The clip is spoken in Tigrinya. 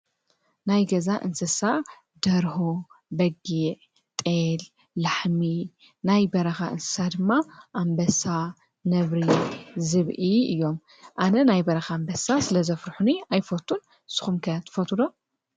ናይ ገዛ እንስሳ ደርሆ፣ በጊ፣ ጠል፣ ላሕሚ ፣ናይ በረኻ እንስሳ ድማ ኣምበሳ ፣ነብሪ ፣ዝብኢ፣ እዮም። ኣነ ናይ በረኻ ኣምበሳ ስለ ዘፍርኁኒ ኣይፈቱን ስኹምከ ትፈትውዶ?